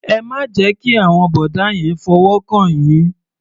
Ẹ má jẹ́ kí àwọn bọ̀dá yẹn fọwọ́ kàn yín.